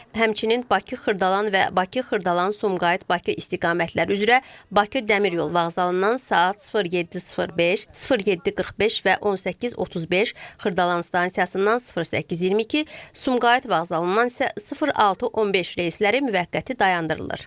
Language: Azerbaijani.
Həmçinin Bakı-Xırdalan və Bakı-Xırdalan-Sumqayıt-Bakı istiqamətləri üzrə Bakı dəmir yolu vağzalından saat 07:05, 07:45 və 18:35, Xırdalan stansiyasından 08:22, Sumqayıt vağzalından isə 06:15 reysləri müvəqqəti dayandırılır.